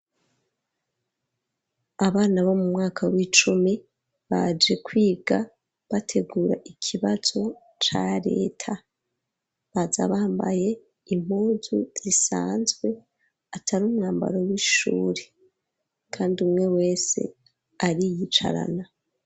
Abana bo mu mwaka w'icumi baje kwiga bategura ikibazo ca reta baza bambaye impunzu zisanzwe atari umwambaro w'ishuri kandi umwe wese ariyicarana